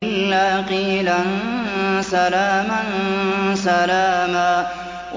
إِلَّا قِيلًا سَلَامًا سَلَامًا